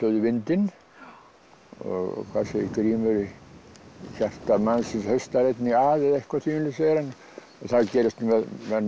í vindinn og hvað segir Grímur í hjarta mannsins haustar einnig að eitthvað þvíumlíkt segir hann það gerist með menn